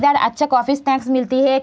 इधर अच्छा coffee snacks मिलती है ।